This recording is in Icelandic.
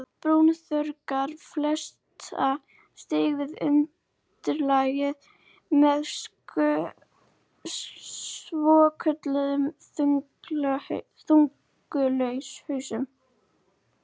Brúnþörungar festa sig við undirlagið með svokölluðum þöngulhausum.